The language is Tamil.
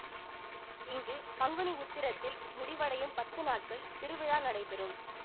இங்கு பங்குனி உத்தரத்தில் முடிவடையும் பத்து நாட்கள் திருவிழா நடைபெறும்